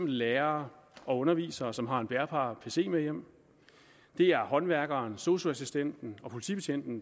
lærere og undervisere som har en bærbar pc med hjem det er håndværkere sosu assistenter og politibetjente